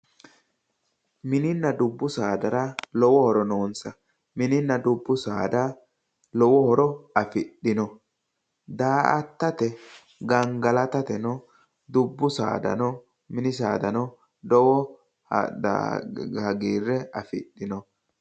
Mininna dubbu saadara lowo horo noonsa mininna dubbu saada lowo horo afidhino daa"atateno, gangalatateno, dubbu saadano mini saadano lowo hagiirre afidhino.